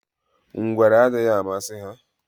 Ngwere adịghị amasị ha